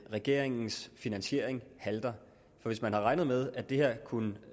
regeringens finansiering halter hvis man har regnet med at det her kunne